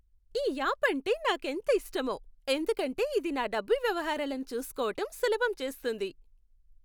ఈ యాప్ అంటే నాకెంత ఇష్టమో, ఎందుకంటే ఇది నా డబ్బు వ్యవహారాలను చూస్కోవటం సులభం చేస్తుంది.